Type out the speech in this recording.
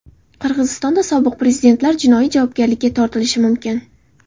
Qirg‘izistonda sobiq prezidentlar jinoiy javobgarlikka tortilishi mumkin.